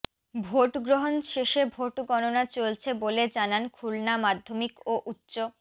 ভোটগ্রহণ শেষে ভোট গণনা চলছে বলে জানান খুলনা মাধ্যমিক ও উচ্চ